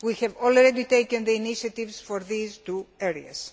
Sea. We have already taken the initiatives for these two areas.